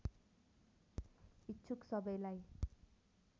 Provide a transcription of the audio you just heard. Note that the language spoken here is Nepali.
इच्छुक सबैलाई